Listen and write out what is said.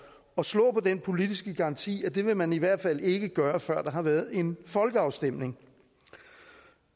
og slå på den politiske garanti at det vil man i hvert fald ikke gøre før der har været en folkeafstemning